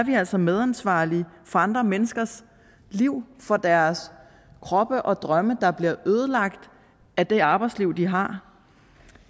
vi altså medansvarlige for andre menneskers liv for deres kroppe og drømme der bliver ødelagt af det arbejdsliv de har